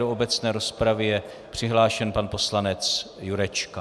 Do obecné rozpravy je přihlášen pan poslanec Jurečka.